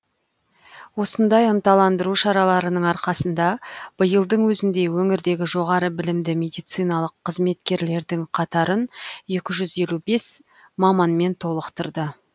осындай ынталандыру шараларының арқасында биылдың өзінде өңірдегі жоғары білімді медициналық қызметкерлердің қатарын екі жүз елу бес маманмен толықтырды